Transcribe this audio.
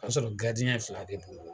O y'a sɔrɔ fila de